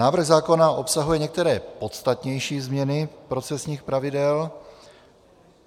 Návrh zákona obsahuje některé podstatnější změny procesních pravidel.